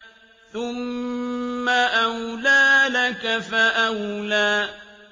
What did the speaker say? ثُمَّ أَوْلَىٰ لَكَ فَأَوْلَىٰ